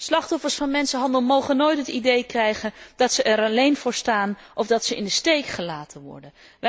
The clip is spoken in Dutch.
Slachtoffers van mensenhandel mogen nooit het idee krijgen dat ze er alleen voor staan of dat ze in de steek gelaten worden.